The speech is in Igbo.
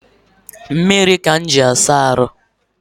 Mmiri ka m ji asa ahụ